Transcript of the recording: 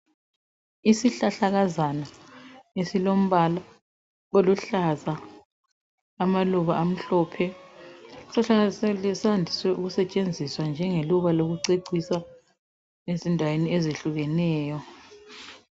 Isihlahlakazana esilombala oluhlaza amaluba amhlophe isihlahla lesi siyande ukusetshenziswa njengeluba lokucecisa ezindaweni ezehlukeneyo.